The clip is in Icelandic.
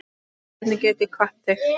Hvernig get ég kvatt þig?